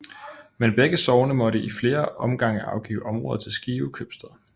Men begge sogne måtte i flere omgange afgive områder til Skive Købstad